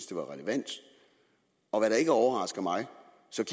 det var relevant og hvad der ikke overrasker mig